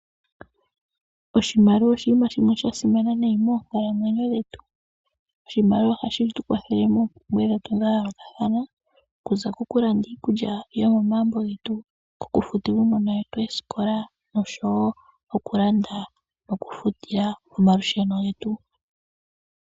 Oshimaliwa oshinima shimwe shasimana nayi moonkalamwenyo dhe tu, oshimaliwa ohashi tu kwathele moompumbwe dhetu dha yoolokathana , oku za kokulanda iikulya yomomagumbo getu, okufutila uunona wetu eesikola noshowo okulanda oku futila omalusheno getu.